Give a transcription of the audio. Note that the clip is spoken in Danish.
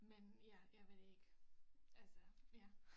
Men ja jeg ved det ikke altså ja